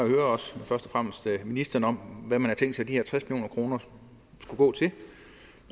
først og fremmest høre ministeren om hvad man har tænkt sig at de her tres million kroner skulle gå til